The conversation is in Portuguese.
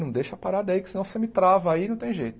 Não deixa a parada aí que senão você me trava aí, não tem jeito.